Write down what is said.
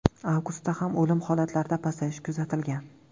Avgustda ham o‘lim holatlarida pasayish kuzatilgan.